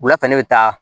Wula fɛ ne bɛ taa